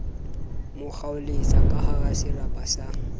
mo kgaoletsa kahara serapa sa